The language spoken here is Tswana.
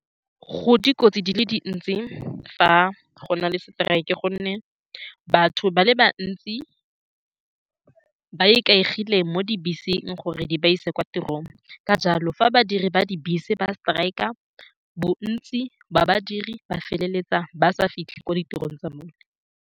Go dikotsi di le dintsi fa go na le seteraeke, ka gonne batho ba le bantsi ba ikaegile mo dibeseng gore di ba ise kwa tirong. Ka jalo, fa badiri ba dibese ba strike, bontsi ba badiri ba feleletsa ba sa fitlhe ko ditirong tsa bone.